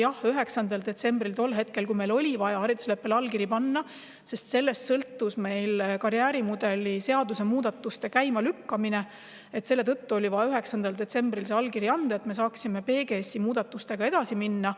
Jah, tol hetkel, 9. detsembril oli meil vaja haridusleppele allkiri anda, sest sellest sõltus karjäärimudeli muudatuste käimalükkamine, seda allkirja oli vaja, et me saaksime PGS-i muudatustega edasi minna.